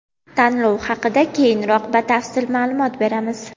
Tanlov haqida keyinroq batafsil ma’lumot beramiz.